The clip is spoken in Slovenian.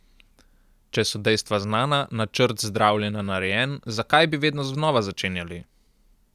Če so dejstva znana, načrt zdravljenja narejen, zakaj bi vedno znova začenjali?